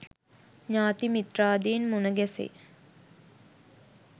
ඥාති මිත්‍රාදීන් මුණ ගැසෙයි.